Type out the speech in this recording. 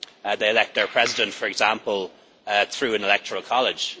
They elect their president, for example, through an electoral college.